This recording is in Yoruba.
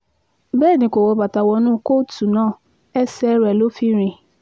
bẹ́ẹ̀ ni kò wọ bàtà wọnú kóòtù náà ẹsẹ̀ rẹ̀ ló fi rìn